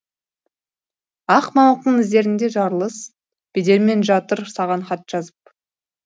ақ мамықтың іздерінде жарылыс бедерімен жатыр саған хат жазып